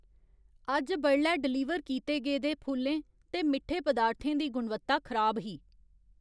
अज्ज बडलै डलीवर कीते गेदे फुल्लें ते मिट्ठे पदार्थें दी गुणवत्ता खराब ही।